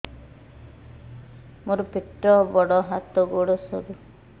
ମୋର ପେଟ ବଡ ହାତ ଗୋଡ ସରୁ